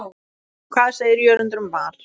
Hvað segir Jörundur um Val?